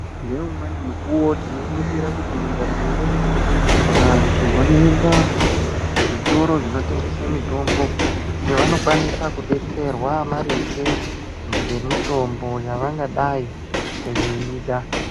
Nge umweni mukuwo tino ningira kuti mu ndaramo yedu vantu vanoenda ku zvitoro zvino tengese mitombo evano kwanisa ku detserwa maringe nge mitombo yavangadai veida.